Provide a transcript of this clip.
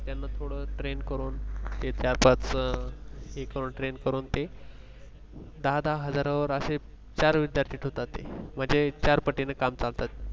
थोड train करुन ते चार पाच अ त्याना train करुन ते दहा दहा हजारावर अशे चार विद्यार्थि ठेवतात मनजे चार पटिने काम चालतात